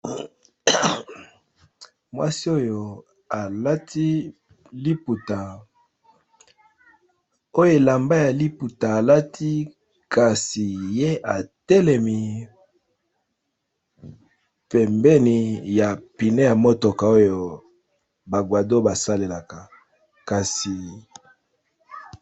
Mwasi oyo alati liputa oyo elamba ya liputa alati kasi ye atelemi pembeni ya pine ya motoko oyo ba kwado ba salelaka kasi.